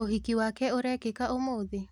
ũhiki wake ũrekĩka ũmũthĩ?